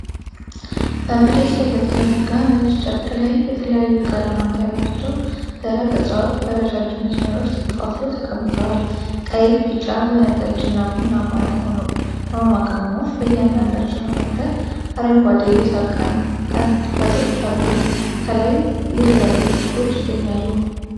በመሬት ላይ በተዘረጋ ነጭ ጨርቅ ላይ የተለያዩ ቀለማት ያላቸው ደረቅ እፅዋት በረዣዥም መስመሮች ተከፋፍለው ተቀምጠዋል። ቀይ፣ ቢጫ፣ ወይንጠጅና ቡናማ የሆኑ ቅመማ ቅመሞች በእያንዳንዳቸው መካከል አረንጓዴ የሳር ቀንበጦች አሉ። ከላይ የተለያዩ እሽጎች ይገኛሉ።